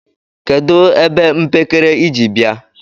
kedụ ebe mpekere ị ji bia?